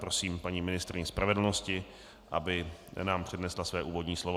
Prosím paní ministryni spravedlnosti, aby nám přednesla své úvodní slovo.